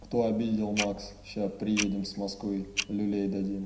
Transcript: кто обидел макс сейчас приедем с москвы люлей дадим